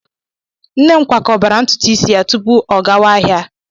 Nne m kwakọbara ntutu isi ya tupu ọ gawa ahịa.